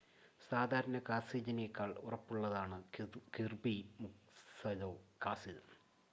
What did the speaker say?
സാദാരണ കാസിലിനേക്കാൾ ഉറപ്പുള്ളതാണ് കിർബി മുക്സലൊ കാസിൽ